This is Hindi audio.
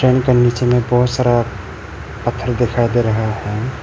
उनके नीचे में बहोत सारा पत्थर दिखाई दे रहा है।